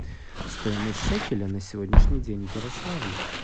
стоимость шекеля на сегодняшний день в ярославле